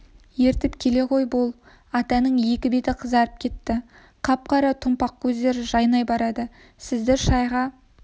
ертіп келе ғой бол атаның екі беті қызарып кетті қап-қара томпақ көздері жайнап барады сізді шайға